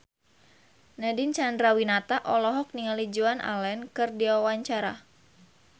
Nadine Chandrawinata olohok ningali Joan Allen keur diwawancara